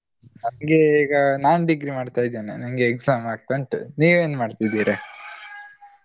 ನನ್ಗೆ ಈಗ ನಾನ್ degree ಮಾಡ್ತಾ ಇದ್ದೇನೆ ನನ್ಗೆ exam ಆಗ್ತಾ ಉಂಟು ನೀವೆನ್ ಮಾಡ್ತಿದ್ದೀರಾ ?